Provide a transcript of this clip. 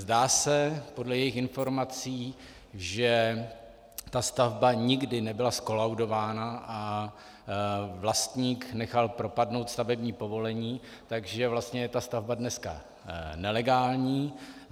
Zdá se podle jejich informací, že ta stavba nikdy nebyla zkolaudována a vlastník nechal propadnout stavební povolení, takže vlastně je ta stavba dneska nelegální.